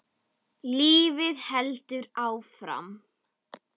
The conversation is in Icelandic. Lífið heldur áfram.